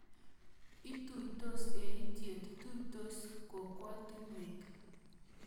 Ituitos eitiet, tuitos kokwatinek